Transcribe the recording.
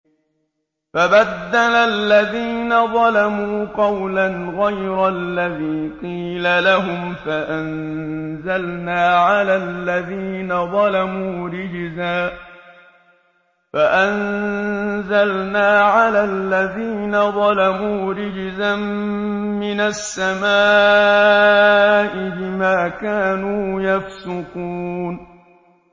فَبَدَّلَ الَّذِينَ ظَلَمُوا قَوْلًا غَيْرَ الَّذِي قِيلَ لَهُمْ فَأَنزَلْنَا عَلَى الَّذِينَ ظَلَمُوا رِجْزًا مِّنَ السَّمَاءِ بِمَا كَانُوا يَفْسُقُونَ